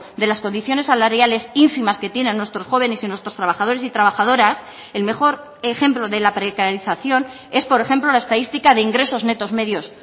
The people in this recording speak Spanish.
de las condiciones salariales ínfimas que tienen nuestros jóvenes y nuestros trabajadores y trabajadoras el mejor ejemplo de la precarización es por ejemplo la estadística de ingresos netos medios